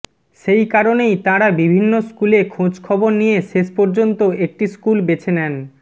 সেই কারণেই তাঁরা বিভিন্ন স্কুলে খোঁজখবর নিয়ে শেষপর্যন্ত একটি স্কুল বেছে নেন